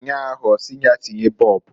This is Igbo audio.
Nnyaa ahụ ọsị ya tinye bọọbụǃ